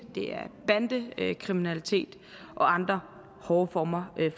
det er bandekriminalitet og andre hårde former